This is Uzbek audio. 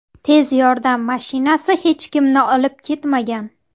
Tez yordam mashinasi hech kimni olib ketmagan.